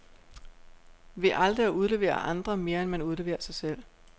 Ved aldrig at udlevere andre, mere end man udleverer sig selv.